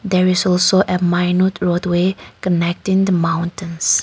there is also a minute roadway connecting the mountains.